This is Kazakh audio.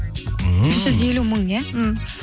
ммм үш жүз елу мың иә м